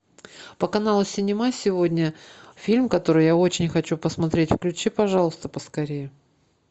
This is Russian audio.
по каналу синема сегодня фильм который я очень хочу посмотреть включи пожалуйста поскорее